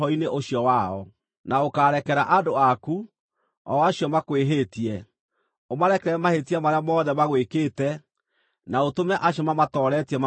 Na ũkarekera andũ aku, o acio makwĩhĩtie; ũmarekere mahĩtia marĩa mothe magwĩkĩte, na ũtũme acio mamatooretie mamaiguĩre tha;